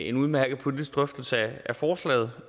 en udmærket politisk drøftelse af forslaget